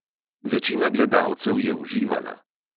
Večina gledalcev je uživala.